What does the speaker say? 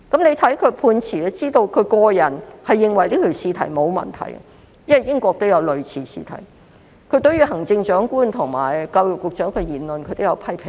從他的判詞可見，其實他個人認為試題是沒有問題的，因為在英國也有類似的試題，他亦對行政長官及教育局局長的言論作出了批評。